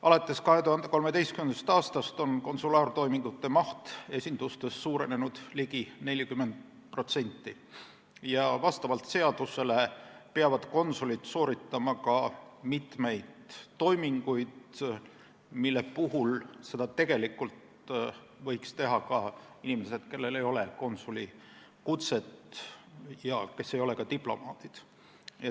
Alates 2013. aastast on konsulaartoimingute maht esindustes suurenenud ligi 40% ja vastavalt seadusele peavad konsulid sooritama mitmeid toiminguid, mida tegelikult võiksid teha ka inimesed, kellel ei ole konsulikutset ja kes ei ole ka diplomaadid.